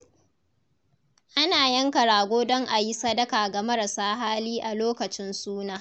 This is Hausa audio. Ana yanka rago don a yi sadaka ga marasa hali a lokacin suna.